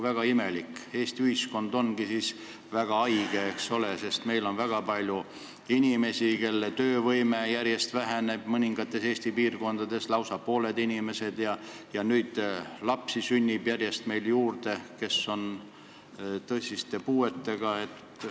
Väga imelik, Eesti ühiskond ongi siis väga haige, sest meil on väga palju inimesi, kelle töövõime järjest väheneb, mõningates Eesti piirkondades on lausa pooled inimesed sellised, ja nüüd sünnib järjest juurde lapsi, kes on tõsise puudega.